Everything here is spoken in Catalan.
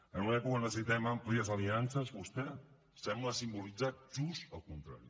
en una època on necessitem àmplies aliances vostè sembla simbolitzar just el contrari